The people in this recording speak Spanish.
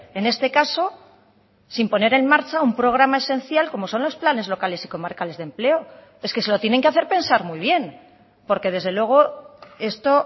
en este caso sin poner en marcha un programa esencial como son los planes locales y comarcales de empleo es que se lo tienen que hacer pensar muy bien porque desde luego esto